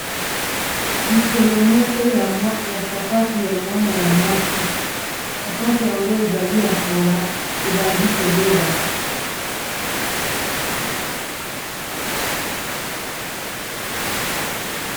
likolo moko ya sapatu ya mwana ya mwasi sapatu yango ezali ya kala ebandi kobeba